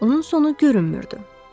Onun sonu görünmürdü.